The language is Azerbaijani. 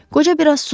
Qoca biraz susdu.